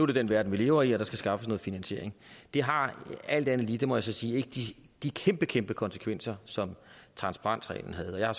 det den verden vi lever i og der skal skaffes noget finansiering det har alt andet lige det må jeg så sige ikke de kæmpe kæmpe konsekvenser som transparensreglen havde jeg har